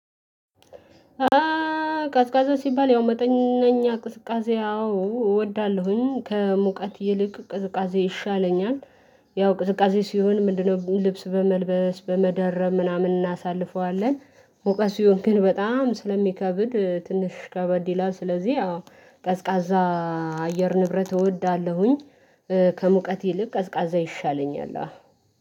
እእ ቀዝቃዛ ሲባል ያው መጠነኛ ቅዝቃዜ አዎ እወዳለሁኝ ከሙቀት ይልቅ ቅዝቃዜ ይሻለኛል። ያው ቅዝቃዜ ሲሆን ምንድነው? ልብስ በመልበስ በመደረብ ምናምን እናሳልፈዋለን። ሙቀት ሲሆን ግን በጣም ስለሚከብድ ትንሽ ከበድ ይላል ስለዚህ አዎ ቀዝቃዛ አየር ንብረት እወዳለሁኝ። ከሙቀቴ ልብ ቀዝቃዛ ይሻለኛል